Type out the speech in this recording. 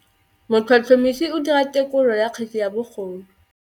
Motlhotlhomisi o dira têkolô ya kgetse ya bogodu.